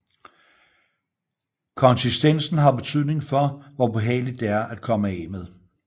Konsistensen har betydning for hvor behageligt det er at komme af med